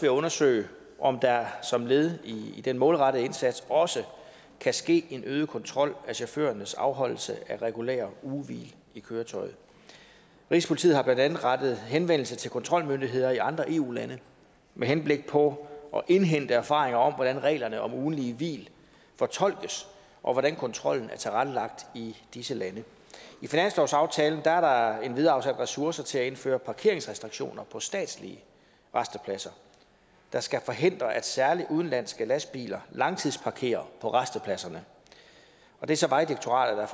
at undersøge om der som led i den målrettede indsats også kan ske en øget kontrol af chaufførernes afholdelse af regulære ugehvil i køretøjet rigspolitiet har blandt andet rettet henvendelse til kontrolmyndigheder i andre eu lande med henblik på at indhente erfaringer om hvordan reglerne om ugentlige hvil fortolkes og hvordan kontrollen er tilrettelagt i disse lande i finanslovsaftalen er der endvidere afsat ressourcer til at indføre parkeringsrestriktioner på statslige rastepladser der skal forhindre at særlig udenlandske lastbiler langtidsparkerer på rastepladserne det er så vejdirektoratet der